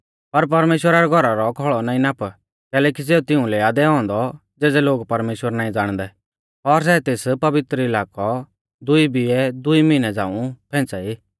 पर परमेश्‍वरा रै घौरा रौ खौल़ौ नाईं नाप कैलैकि सेऊ तिउंलै आ दैऔ औन्दौ ज़ेज़ै लोग परमेश्‍वर नाईं ज़ाणदै और सै तेस पवित्र इलाकौ दुई बिऐ दुई मिहनै झ़ांऊ फेंच़ा ई